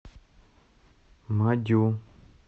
мадю